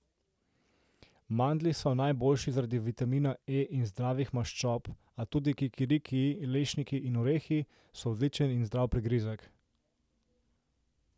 Mandlji so najboljši zaradi vitamina E in zdravih maščob, a tudi kikirikiji, lešniki in orehi so odličen in zdrav prigrizek.